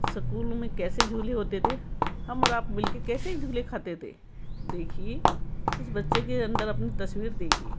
सकुल में कैसे झूल होते थे हम और आप मिलके कैसे झूल खाते थे देखिए इस बच्चे के अंदर अपनी तस्वीर देखी --